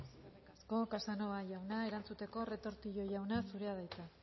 eskerrik asko casanova jauna erantzuteko retortillo jauna zurea da hitza